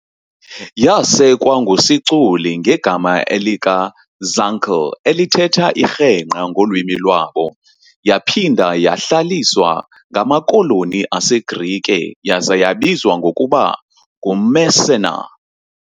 Yasekwa ngu Siculi ngegama elika "Zancle", elithetha "irhengqa" ngolwimi lwabo, yaphinda yahlaliswa ngamakoloni aseGrike yaza yabizwa ngokuba "nguMessana" .